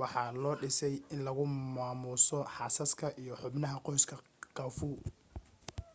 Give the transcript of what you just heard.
waxaa loo dhisay in lagu maamuuso xaasaska iyo xubnaha qoyska khafu